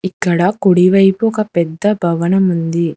ఇక్కడ కుడి వైపు ఒక పెద్ద భవనం ఉంది.